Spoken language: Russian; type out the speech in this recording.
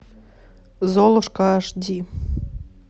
золушка аш ди